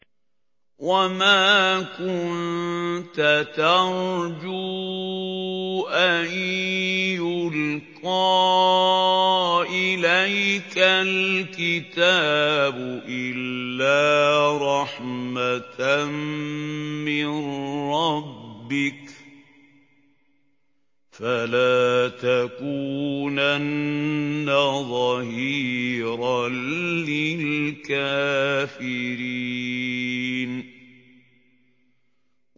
وَمَا كُنتَ تَرْجُو أَن يُلْقَىٰ إِلَيْكَ الْكِتَابُ إِلَّا رَحْمَةً مِّن رَّبِّكَ ۖ فَلَا تَكُونَنَّ ظَهِيرًا لِّلْكَافِرِينَ